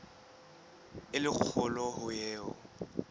e le kgolo ho eo